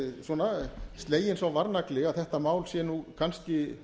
svona sleginn sá varnagli að þetta mál sé nú kannski